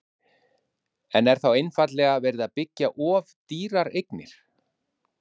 Hersir Aron: En er þá einfaldlega verið að byggja of dýrar eignir?